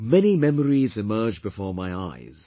Many memories emerge before my eyes